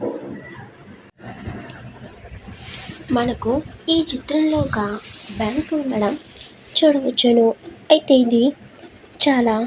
మనకు ఇ చిత్రం లో ఒక బ్యాంకు ఉండటం చూడవచ్చును అయ్యేయితే చాలా --